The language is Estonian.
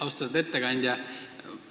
Austatud ettekandja!